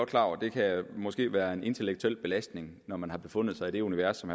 klar over det kan måske være en intellektuel belastning når man har befundet sig i det univers som